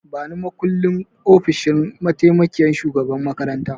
Bani makullin ofishin mataimakiyyar shugaban makaranta!